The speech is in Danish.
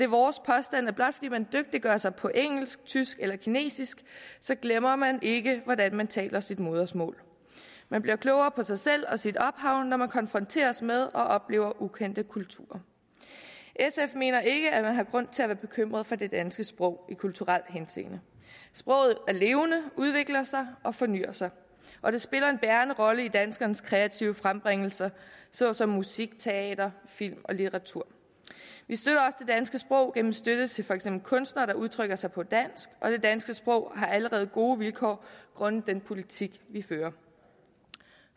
vores påstand at blot fordi man dygtiggør sig på engelsk tysk eller kinesisk glemmer man ikke hvordan man taler sit modersmål man bliver klogere på sig selv og sit ophav når man konfronteres med og oplever ukendte kulturer sf mener ikke at man har grund til at være bekymret for det danske sprog i kulturelt henseende sproget er levende udvikler sig og fornyr sig og det spiller en bærende rolle i danskernes kreative frembringelser såsom musik teater film og litteratur vi støtter sprog gennem støtte til for eksempel kunstnere der udtrykker sig på dansk og det danske sprog har allerede gode vilkår grundet den politik vi fører